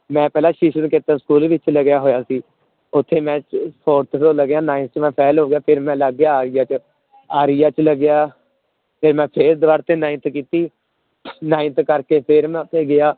ਮੈਂ ਪਹਿਲਾਂ school ਵਿੱਚ ਲੱਗਿਆ ਹੋਇਆ ਸੀ ਉੱਥੇ ਮੈਂ fourth ਚ ਲੱਗਿਆ ninth ਚ ਮੈਂ fail ਹੋ ਗਿਆ ਫਿਰ ਮੈਂ ਲੱਗ ਗਿਆ ਆਰੀਆ ਚ, ਆਰੀਆ ਚ ਲੱਗਿਆ ਤੇ ਮੈਂ ਫਿਰ ਦੁਬਾਰ ਤੋਂ ninth ਕੀਤੀ ninth ਕਰਕੇ ਫਿਰ ਮੈਂ ਉੱਥੇ ਗਿਆ,